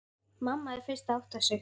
Mamma er fyrst að átta sig: